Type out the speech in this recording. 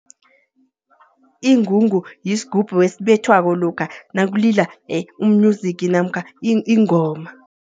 Ingungu yisgubhu esibethwako, lokha nakulila u-music namkha ingoma.